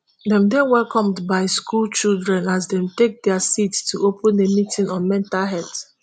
dem dey welcomed by school children as dem take dia seats to open a meeting on mental health